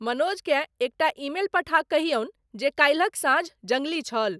मनोज केँ एकटा ईमेल पठा कहियनु जे काल्हिक साँझ जंगली छल।